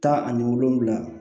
Tan ani wolonwula